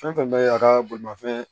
Fɛn fɛn bɛ ye a ka bolimafɛn